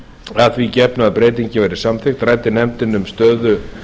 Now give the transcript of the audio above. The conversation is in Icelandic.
að því gefnu að breytingin verði samþykkt ræddi nefndin um stöðu